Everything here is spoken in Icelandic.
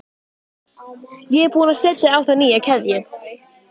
Ég er búin að setja á það nýja keðju